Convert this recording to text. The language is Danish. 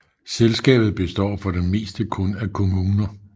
Selskabet består for det meste kun af kommuner